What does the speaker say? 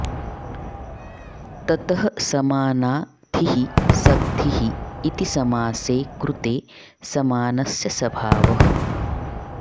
ततः समाना ग्धिः सग्धिः इति समासे कृते समानस्य सभावः